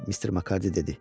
Mister Makardi dedi.